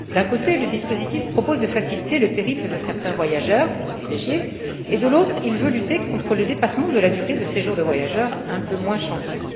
D'un côté, le dispositif propose de faciliter le périple de certains voyageurs privilégiés et, de l'autre, il veut lutter contre le dépassement de la durée de séjour de voyageurs un peu moins chanceux.